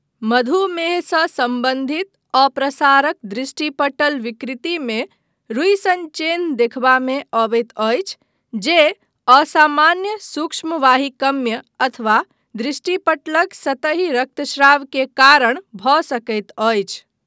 मधुमेहसँ सम्बन्धित अप्रसारक दृष्टिपटल विकृतिमे रुइ सन चेन्ह देखबामे अबैत अछि जे असामान्य सूक्ष्मवाहिकमय अथवा दृष्टिपटलक सतही रक्तश्राव के कारण भऽ सकैत अछि।